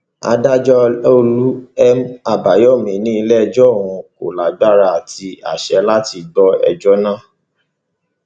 adájọ ọlàọlù m àbáyọmí ní iléẹjọ òun kò lágbára àti àsè láti gbọ ẹjọ náà